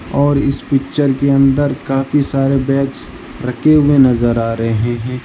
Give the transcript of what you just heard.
और इस पिक्चर के अंदर काफी सारे बैग्स रखें हुए नजर आ रहे हैं।